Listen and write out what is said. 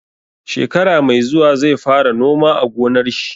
Shekara mai zuwa zai fara noma a gonar shi.